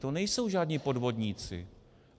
To nejsou žádní podvodníci.